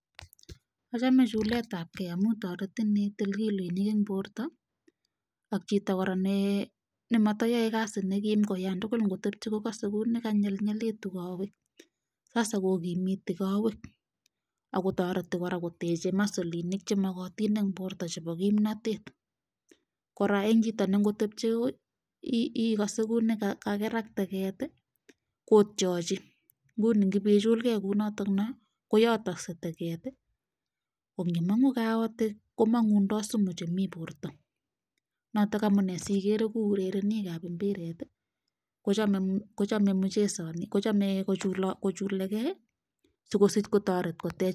achame chuket ab kei amu taretin itil kiloinik eng borto ak chito ne matayaei kasit ko kasei kokanyelit kawek kotareti koteche kawek ak komitu masol ce bo kimnatetko nra eng chito ne ngotebchei kokase kokakerak teget kotychi. kongomangu kaotik komangundoi sumu che ba borto. noto munee igere chesanik ab mpiret ko chome kochuloti si kosich koter